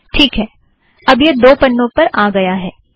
ठीक है अब यह दो पन्नों पर आ गया है